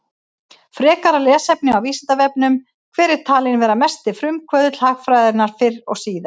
Frekara lesefni á Vísindavefnum: Hver er talinn vera mesti frumkvöðull hagfræðinnar fyrr og síðar?